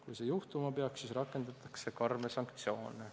Kui see peaks juhtuma, siis rakendatakse karme sanktsioone.